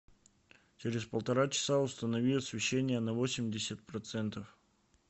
через полтора часа установи освещение на восемьдесят процентов